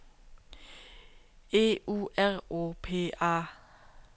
E U R O P A